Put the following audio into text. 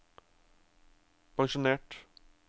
pensjonert